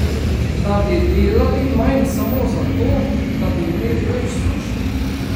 Da bi delali manj samo zato, da bi imeli več služb?